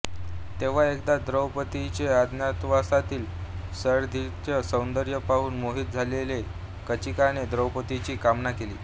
तेव्हा एकदा द्रौपद्रीचे अज्ञातवासातील सैरंध्रीचे सौंदर्य पाहून मोहीत झालेल्या कीचकाने द्रौपद्रीची कामना केली